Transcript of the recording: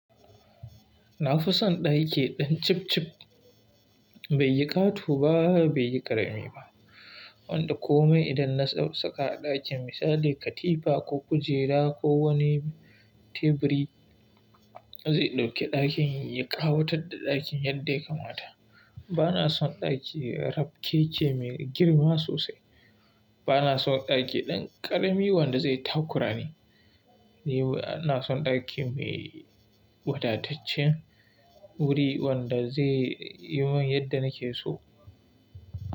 Na fi son ɗaki ɗan cif cif, bai yi ƙato ba, bai yi ƙarami ba, wanda kome idan na ɗau saka a ɗakin misali katifa ko kujera ko wani teburi zai ɗauke ɗakin, ya ƙawatar da ɗakin yadda ya kamata. Bana son ɗaki rabkeke mai girma sosai. Bana son ɗaki ɗan ƙarami wanda zai takurani. Ni bana son ɗaki mai wadataccen wuri wanda zai yi mun yadda nake so.